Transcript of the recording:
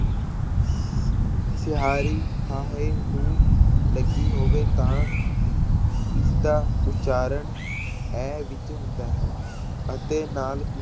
ਸਿਹਾਰੀ ਹਾਹੇ ਨੂੰ ਲੱਗੀ ਹੋਵੇ ਤਾਂ ਇਸਦਾ ਉਚਾਰਨ ਇਹ ਵਿੱਚ ਹੁੰਦਾ ਹੈ ਅਤੇ ਨਾਲ